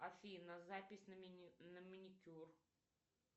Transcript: афина запись на маникюр